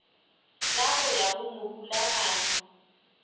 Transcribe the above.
la go ya go morulaganyi